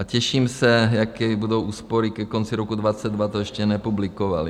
A těším se, jaké budou úspory ke konci roku 2022, to ještě nepublikovali.